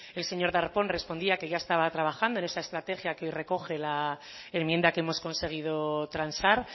el señor darpón respondía que ya estaba trabajando en esa estrategia que hoy recoge la enmienda que hemos conseguido transar